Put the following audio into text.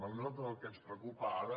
a nosaltres el que ens preocupa ara